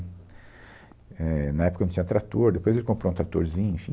Éh, na época não tinha trator, depois ele comprou um tratorzinho, enfim.